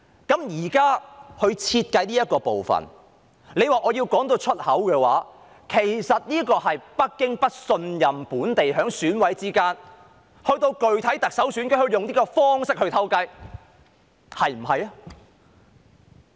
現時設計的這部分，若要我宣之於口的話，其實是緣於北京不信任本地選委，恐防他們到了具體特首選舉時會聯手用這種方式"偷雞"，是不是呢？